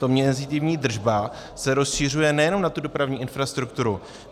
Ta mezitímní držba se rozšiřuje nejenom na tu dopravní infrastrukturu.